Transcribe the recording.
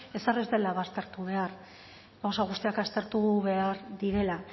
ezer ez dela baztertu behar gauza guztiak aztertu behar direla